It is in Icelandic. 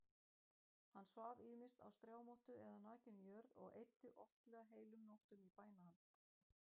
Hann svaf ýmist á strámottu eða nakinni jörð og eyddi oftlega heilum nóttum í bænahald.